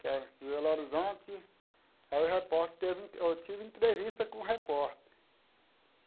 Que é de Belo Horizonte, aí o repórter teve, eu tive entrevista com o repórter.